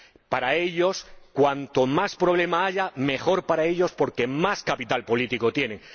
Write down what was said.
Para ellos, cuanto más problema haya, mejor para ellos, porque más capital político tienen.